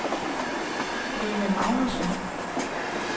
Lene Magnussen